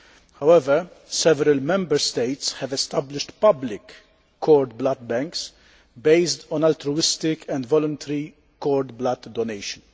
However, several Member States have established public cord blood banks based on altruistic and voluntary cord blood donation.